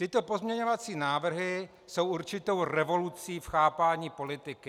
Tyto pozměňovací návrhy jsou určitou revolucí v chápání politiky.